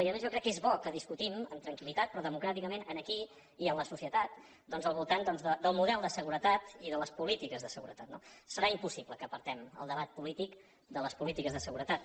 i a més jo crec que és bo que discutim amb tranquil·litat però democràticament aquí i a la societat al voltant del model de seguretat i de les polítiques de seguretat no serà impossible que apartem el debat polític de les polítiques de seguretat